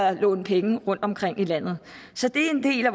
at låne penge rundtomkring i landet så det er en del af